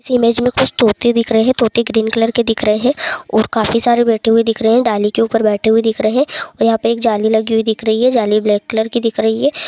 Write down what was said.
कुछ तोते दिख रहे है। तोते ग्रीन कलर के दिख रहे है और काफी सारे बैठे हुए दिख रहे है डाली के ऊपर बैठे हुए दिख रहे है और यहाँ पे एक जाली लगी हुई दिख रही है जाली ब्लैक कलर की दिख रही है।